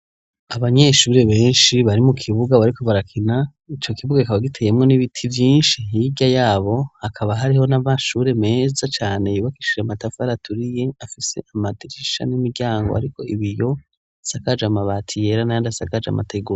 Abanyeshuri benshi bari mu kibuga bariko barakina, ico kibuga kikaba giteyemwo n'ibiti vyinshi hirya yabo hakaba hariho n'amashure meza cane yubakishije matafar' aturiye afis' amadirisha n'imiryango ariko ibiyo, isakaje amabati yera n'ayand'asakaje amategura.